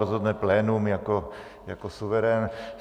Rozhodne plénum jako suverén.